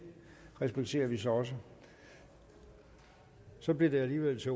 respekterer vi så også så bliver det alligevel til